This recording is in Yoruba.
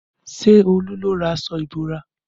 Ṣé Olú ló rà aṣọ ìbora?